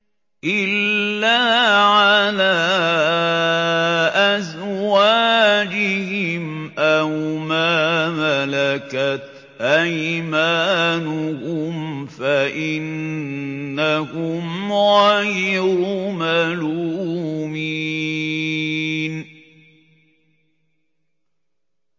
إِلَّا عَلَىٰ أَزْوَاجِهِمْ أَوْ مَا مَلَكَتْ أَيْمَانُهُمْ فَإِنَّهُمْ غَيْرُ مَلُومِينَ